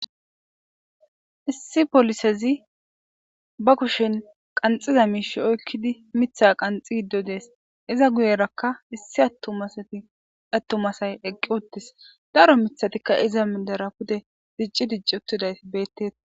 issi polisezi ba kushen qanxiza miishi oykkidi mitha qanxi giddo dees iza guyerakka issi attumasay eqqi uttis daro mithatikka iza mindera pude dicci dicci uttiday bettea